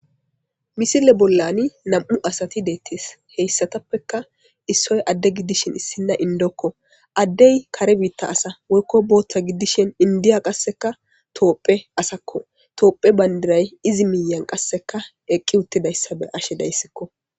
Misile bollani nam'u asati deettees heyssatappeka issoy adde giddishin issinna indokko addey kare biitta asa woykko bootta giddishen indiya qasseka toophphe asakko toophe bandiray izi miyan qasseka eqqi uttidayssabe ashe dayssikko